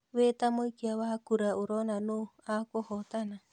Wĩ tamũikia wa kũra ũrona nũũ akũhotana?